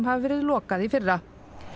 hafi verið lokað í fyrra